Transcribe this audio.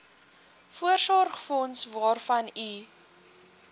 voorsorgsfonds waarvan u